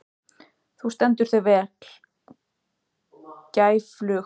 Þú stendur þig vel, Gæflaug!